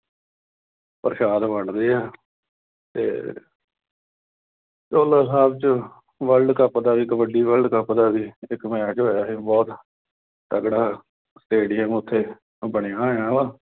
ਪ੍ਰਸ਼ਾਦ ਵੰਡਦੇ ਆ ਤੇ ਚੋਹਲਾ ਸਾਹਿਬ ਚ World Cup ਦਾ ਕਬੱਡੀ World Cup ਦਾ ਵੀ ਇੱਕ match ਹੋਇਆ ਸੀ। ਬਹੁਤ ਤਕੜਾ stadium ਉਥੇ ਬਣਿਆ ਹੋਇਆ।